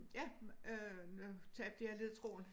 Ja øh nu tabte jeg ledetråden